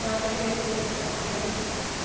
Tem uma freguesia.